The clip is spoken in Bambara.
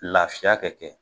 Lafiya kɛ kɛ